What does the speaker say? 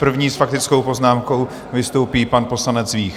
První s faktickou poznámkou vystoupí pan poslanec Vích.